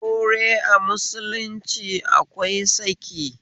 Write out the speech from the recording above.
Aure a musulunci akwai saki